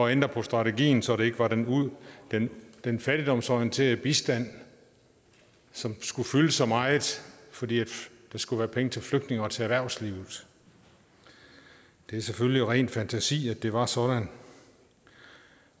ændre på strategien så det ikke var den den fattigdomsorienterede bistand som skulle fylde så meget fordi der skulle være penge til flygtninge og til erhvervslivet det er selvfølgelig ren fantasi at det var sådan